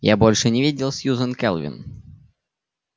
я больше не видел сьюзен кэлвин